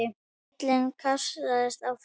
Bíllinn kastast áfram.